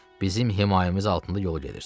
Bizim himayəmiz altında yolu gedirsiz.